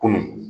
Kunun